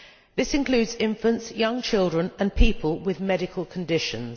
This includes infants, young children and people with medical conditions.